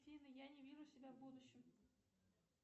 афина я не вижу себя в будущем